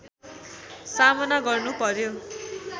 सामना गर्नु पर्‍यो